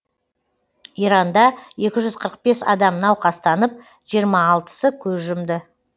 иранда екі жүз қырық бес адам науқастанып жиырма алтысы көз жұмды